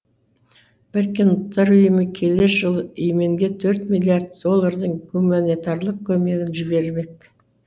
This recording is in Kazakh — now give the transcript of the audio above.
біріккен ұлттар ұйымы келер жылы и еменге төрт миллиард доллардың гуманитарлық көмегін жібермек